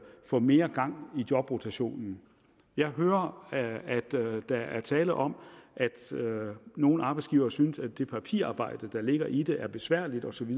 få mere gang i jobrotationen jeg hører at at der er tale om at nogle arbejdsgivere synes at det papirarbejde der ligger i det er besværligt osv